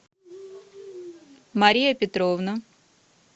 мария петровна